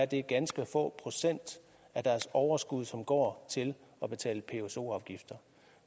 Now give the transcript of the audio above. det ganske få procent af deres overskud som går til at betale pso afgifter